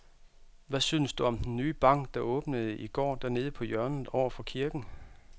Hvad synes du om den nye bank, der åbnede i går dernede på hjørnet over for kirken?